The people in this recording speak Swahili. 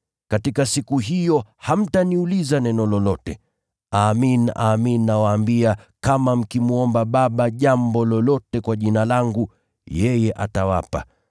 Katika siku hiyo hamtaniuliza neno lolote. Amin, amin nawaambia, kama mkimwomba Baba jambo lolote kwa jina langu, yeye atawapa.